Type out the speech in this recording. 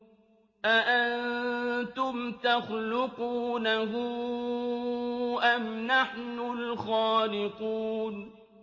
أَأَنتُمْ تَخْلُقُونَهُ أَمْ نَحْنُ الْخَالِقُونَ